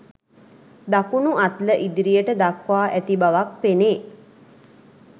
දකුණු අත්ල ඉදිරියට දක්වා ඇති බවක් පෙනේ.